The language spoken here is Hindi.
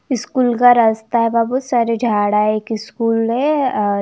स्कूल का रस्ता है वहा बहोत सारे झाड़ आये एक स्कूल है अ--